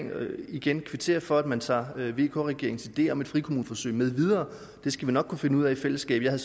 jeg vil igen kvittere for at man tager vk regeringens idé om et frikommuneforsøg med videre det skal vi nok kunne finde ud af i fællesskab jeg